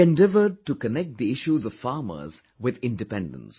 He endeavored to connect the issues of farmers with Independence